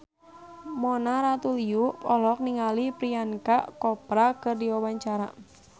Mona Ratuliu olohok ningali Priyanka Chopra keur diwawancara